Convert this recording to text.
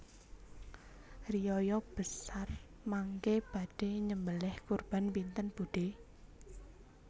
Riyaya besar mangke badhe nyembeleh kurban pinten budhe